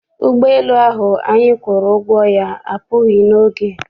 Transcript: Ụgbọala elu ahụ anyị kwụrụ ụgwọ ya apụghị n'oge.